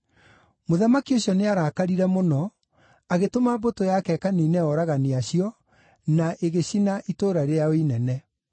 Mũthamaki ũcio nĩarakarire mũno, agĩtũma mbũtũ yake ĩkaniine oragani acio, na ĩgĩcina itũũra rĩao inene.